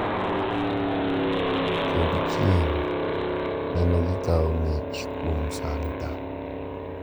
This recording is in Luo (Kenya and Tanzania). Kod chieng` neno gi kawo mich kuom Santa.